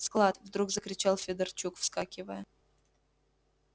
склад вдруг закричал федорчук вскакивая